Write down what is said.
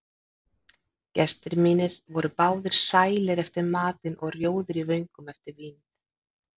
Gestir mínir voru báðir sælir eftir matinn og rjóðir í vöngum eftir vínið.